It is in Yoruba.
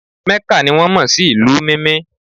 mecca ni won mo si ìlú Mimi